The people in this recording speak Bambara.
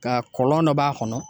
Nka kɔlɔn dɔ b'a kɔnɔ